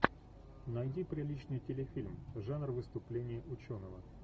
найди приличный телефильм жанр выступление ученого